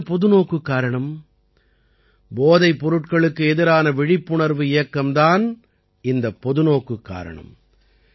அது என்ன பொதுநோக்குக்காரணம் போதைப் பொருட்களுக்கு எதிரான விழிப்புணர்வு இயக்கம் தான் இந்த பொதுநோக்குக் காரணம்